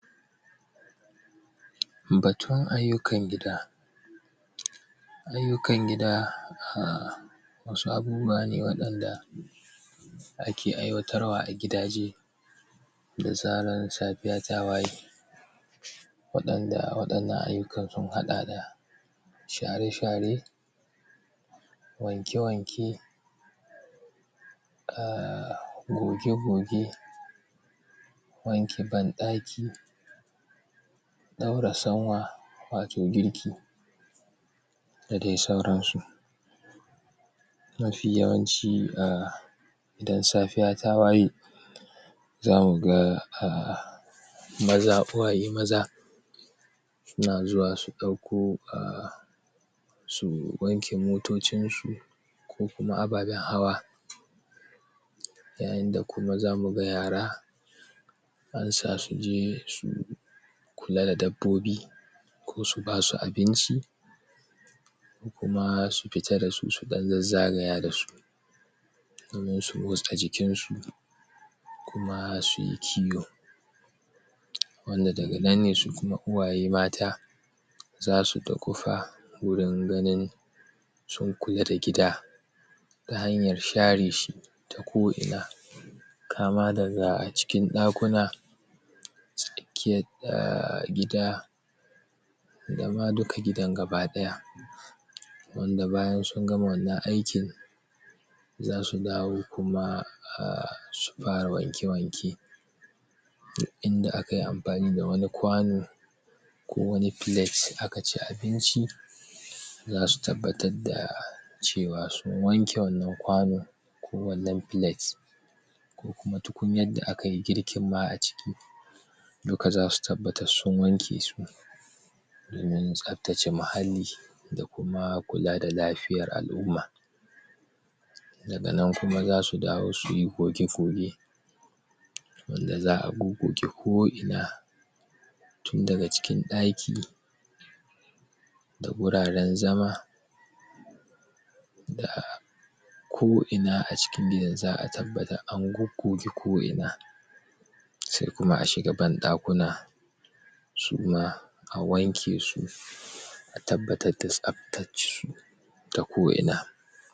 batun ayyukan gidaa ayyukan gidaa wasu abubuwa ne waɗanda ake aiwatarwa a gida je da zaran safiya ta waye waɗanda waɗannan ayyukan sun haɗa daa share-share wanke-wanke goge-goge wanki banɗaki ɗaura sanwaa wato girki da dai sauran su mafi yawancii idan safiya ta waye zamu gaa maza uwaye mazaa suna zuwa su ɗauko suu wanke motocinsu ko kuma ababen hawaa yayinda kuma zamu ga yara an sa suje su kula da dabbobii ko su basu abinci kumaa su fita da su su ɗan zazzagaya da su sannan suyi wasa a jikin su kumaa suyi kiyo wanda daga nan ne su kuma uwaye mataa zasu duƙufa wurin ganin sun kula da gida ta hanyar share shi ta ko inaa kaama dagaa cikin ɗakuna tsakiyat gida dama duka gidan gaba ɗaya wanda bayan sun gama wannan aikin zasu dawo kuma su fara wanke-wanke duk inda akayi amfani da wani kwanu ko wani plate aka ci abinci zasu tabbatar daa cewa sun wanke wannan kwanu ko wannan plate ko kuma tukunyan da akayi girkin ma a ciki duka zasu tabbatas sun wanke su domin tsabtace muhalli da kumaa kula da lafiyar al'umma daga nan kuma zasu dawo suyi goge-goge wanda za'a gogoge ko ina tun daga cikin ɗaki da guraren zama daa ko inaa a cikin gidan za'a tabbata an goggoge ko inaa se kuma a shiga banɗakuna sumaa a wanke su a tabbatat da tsabtat su da ko ina